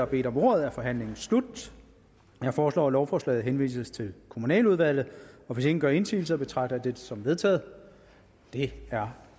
bedt om ordet er forhandlingen slut jeg foreslår at lovforslaget henvises til kommunaludvalget hvis ingen gør indsigelse betragter jeg det som vedtaget det er